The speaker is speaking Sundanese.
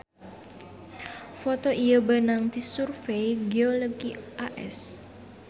Foto ieu beunang ti Survey Geologi AS